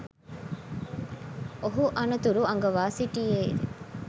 ඔහු අනතුරු අඟවා සිටියේය